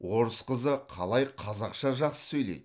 орыс қызы қалай қазақша жақсы сөйлейді